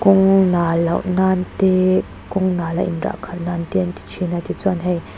kawng nal loh nan te kawng nala inrah khalh nan te an ti thin a tichuan hei.